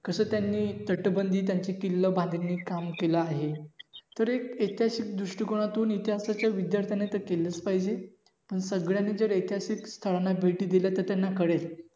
कस त्यांनी तट बंदी त्यांची किल्ल बांधणी काम केलं आहे. तर एक ऐतिहासिक दृष्टीकोनातून इतिहासाच्या विध्यार्थाने तर केलंच पाहिजेपण सगळ्यांनी जर ऐतिहासिक स्थळांना भेटी दिल्या तर त्याना कळेल.